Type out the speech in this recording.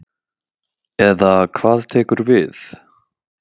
Eða hvað tekur við.